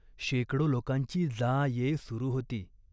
शेकडो लोकांची जा ये सुरू होती.